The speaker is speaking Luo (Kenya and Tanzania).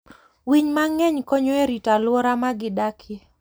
Winy mang'eny konyo e rito alwora ma gidakie.